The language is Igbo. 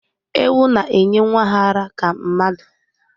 Ewu na-enye nwa ha ara ka mmadụ